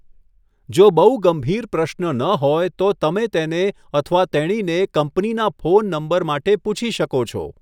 જો બહુ ગંભીર પ્રશ્ન ન હોય, તો તમે તેને અથવા તેણીને કંપનીના ફોન નંબર માટે પૂછી શકો છો.